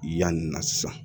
Yanni na sisan